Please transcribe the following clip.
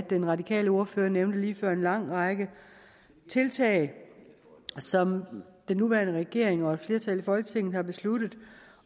den radikale ordfører nævnte lige før en lang række tiltag som den nuværende regering og et flertal i folketinget har besluttet